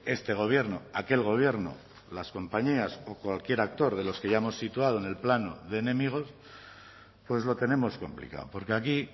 este gobierno aquel gobierno las compañías o cualquier actor de los que ya hemos situado en el plano de enemigos pues lo tenemos complicado porque aquí